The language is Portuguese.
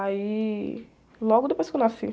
Aí, logo depois que eu nasci.